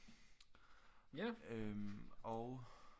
Øh og